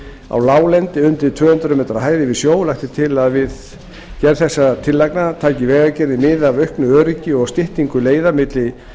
á láglendi undir tvö hundruð m hæð yfir sjó lagt er til að við gerð þessara tillagna taki vegagerðin mið af auknu öryggi og styttingu leiða milli